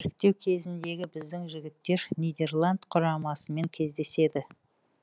іріктеу кезеңінде біздің жігіттер нидерланд құрамасымен кездеседі